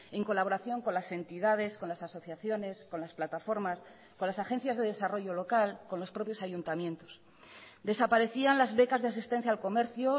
en colaboración con las entidades con las asociaciones con las plataformas con las agencias de desarrollo local con los propios ayuntamientos desaparecían las becas de asistencia al comercio